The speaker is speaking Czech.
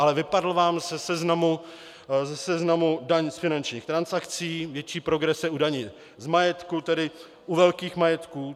Ale vypadla vám ze seznamu daň z finančních transakcí, větší progrese u daně z majetku, tedy u velkých majetků.